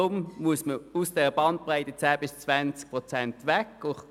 Deshalb muss man von der Bandbreite von 10 bis 20 Prozent wegkommen.